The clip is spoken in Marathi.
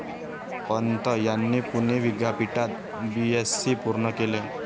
पंत यांनी पुणे विद्यापीठात बीएससी पूर्ण केले.